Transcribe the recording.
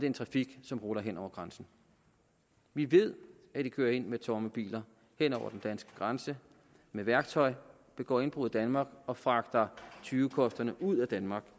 en trafik som ruller hen over grænsen vi ved at de kører ind med tomme biler hen over den danske grænse med værktøj begår indbrud i danmark og fragter tyvekosterne ud af danmark